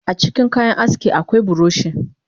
Acikin kayan aski akwai buroshi